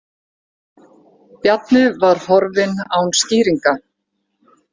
Bjarni var horfinn án skýringa.